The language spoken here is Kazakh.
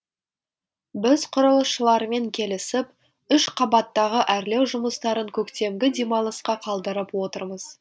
біз құрылысшылармен келісіп үш қабаттағы әрлеу жұмыстарын көктемгі демалысқа қалдырып отырмыз